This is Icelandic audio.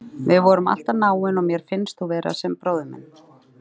Við vorum alltaf náin og mér fannst þú vera sem bróðir minn.